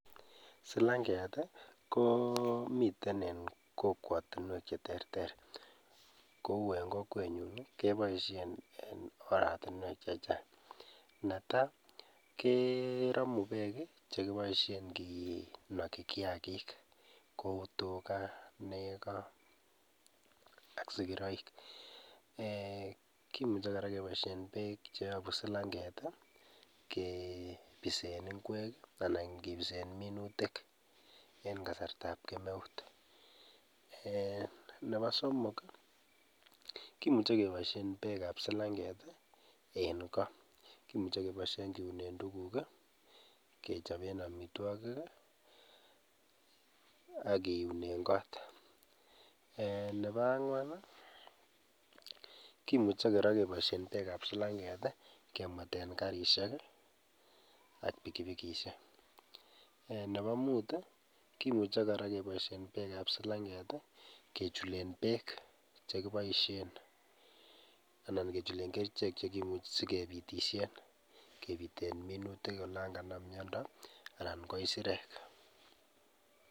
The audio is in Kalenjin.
Silang'et komiten kokwotinwek cheterter kou en kokwenyun keboinshen en oratinwek chechang , neta keromu beek chekiboishen kinoki kiakik kou tukaa, nekoo ak sikiroik, eeh kimuche kora keboishen beek cheyobu silanget kibisen ing'wek anan kibisen minutik en kasartab kemeut, eeh nebo somok kimuje keboishen beek ab silang'et en koo, kimuche keboishen kiunen tukuk i, kechoben amitwokik ak kiunen kot, eeh nebo ang'wan kimuche kora keboishen beek ab silang'et kemweten karisiek i ak bikibikishek, eeh nebo mut i kimuje kora keboishen beek ab silang'et kechulen beek chekiboishen anan kechulen kerichek chekiunsen, sikepitishen kebiten minutik olon kanam miondo anan ko isirek.